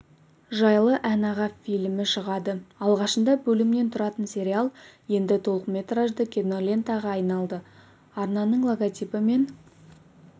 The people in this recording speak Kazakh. жайлы ән-аға фильмі шығады алғашында бөлімнен тұратын сериал енді толықметражды кинолентаға айналды арнаның логотипі мен